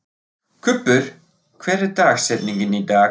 Kubbur, hver er dagsetningin í dag?